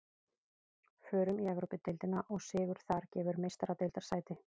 Förum í Evrópudeildina og sigur þar gefur Meistaradeildarsæti.